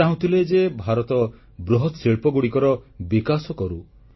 ସେ ଚାହୁଁଥିଲେ ଯେ ଭାରତ ବୃହତ ଶିଳ୍ପଗୁଡ଼ିକର ବିକାଶ କରୁ